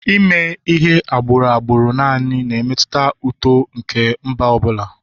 Ime ihe agbụrụ agbụrụ naanị na-emetụta uto nke mba ọ bụla